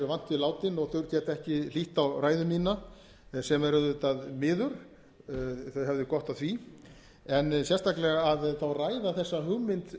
látin og þau geta ekki hlýtt á ræðu mína sem er auðvitað miður þau hefðu gott af því en sérstaklega að þá ræða þessa hugmynd